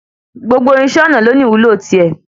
Gbogbo irinṣẹ́ ọnà ló ní ìwúlò ti é.